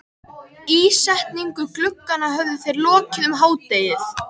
Ísetningu glugganna höfðu þeir lokið um hádegið.